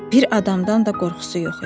Bir adamdan da qorxusu yox idi.